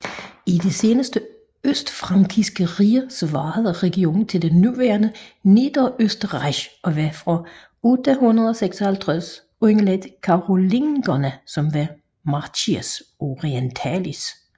I det senere østfrankiske rige svarede regionen til det nuværende Niederösterreich og var fra 856 underlagt Karolingerne som Marchia orientalis